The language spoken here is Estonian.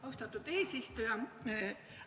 Austatud eesistuja!